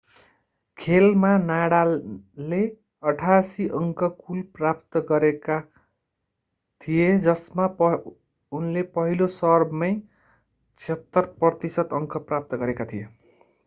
खेलमा नडालले 88% कुल अङ्क प्राप्त गरेका थिए जसमा उनले पहिलो सर्भमै 76% अङ्क प्राप्त गरेका थिए